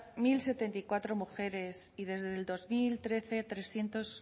mil setenta y cuatro mujeres y desde dos mil trece trescientos